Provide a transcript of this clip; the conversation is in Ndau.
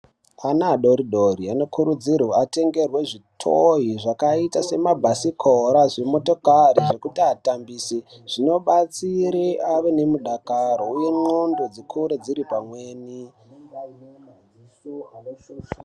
Ana adoridori anokurudzirwa atengerwe zvitoyi zvakaita samabhasikoro, zvimotokari zvekuti atambise zvinobatsire ave nemudakaro uye ndxondo dzikure dziri pamweni.